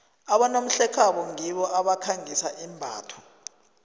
abonomhlekhabo ngibo abakhangisa imbatho